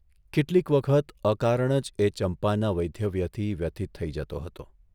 કેટલીક વખત અકારણ જ એ ચંપાના વૈદ્યવ્યથી વ્યથીત થઇ જતો હતો.